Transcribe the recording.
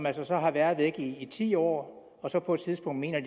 altså har været væk i ti år og så på et tidspunkt mener at